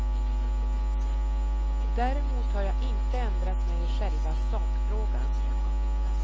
Däremot har jag inte ändrat mig i själva sakfrågan.